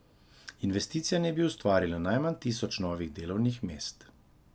Investicija naj bi ustvarila najmanj tisoč novih delovnih mest.